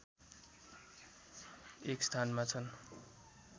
१ स्थानमा छन्